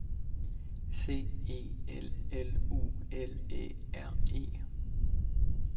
C E L L U L Æ R E